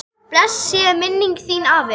Blessuð sé minning þín, afi.